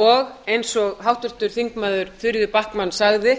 og eins og háttvirtir þingmenn þuríður backman sagði